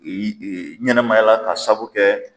Eyi e ɲɛnɛmayala ka saabu kɛ